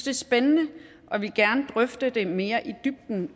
er spændende og vil gerne drøfte det mere i dybden